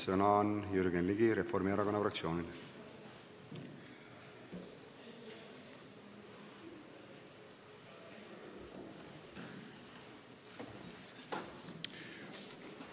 Sõna on Jürgen Ligil, Reformierakonna fraktsiooni esindajal.